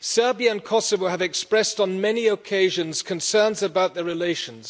Serbia and Kosovo have expressed on many occasions concerns about their relations.